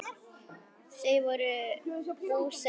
Þau voru búsett í Perú.